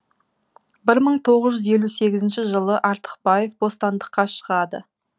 бір мың тоғыз жүз елу сегізінші жылы артықбаев бостандыққа шығады